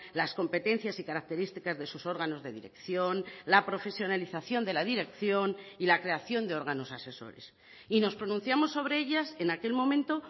las competencias y características de sus órganos de dirección la profesionalización de la dirección y la creación de órganos asesores y nos pronunciamos sobre ellas en aquel momento